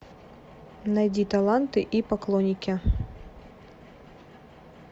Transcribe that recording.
найди таланты и поклонники